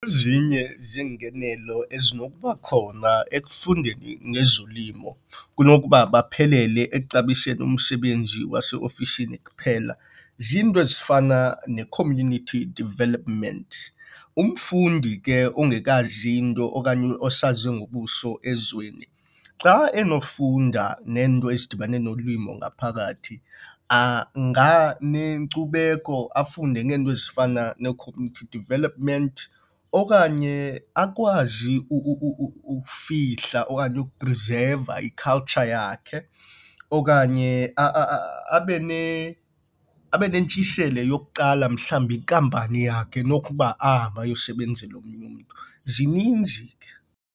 Ezinye zeengenelo ezinokuba khona ekufundeni ngezolimo kunokuba baphelele ekuxabiseni umsebenzi waseofisini kuphela zinto ezifana ne-community development. Umfundi ke ongekazi nto okanye osaze ngobuso ezweni xa enofunda neento ezidibene nolimo ngaphakathi anganenkcubeko afunde ngeento ezifana ne-community development. Okanye akwazi ukufihla okanye ukuprizeva i-culture yakhe okanye abe nentshiseko yokuqala mhlawumbi inkampani yakhe kunokuba ahamba ayokusebenzela omnye umntu, zininzi ke.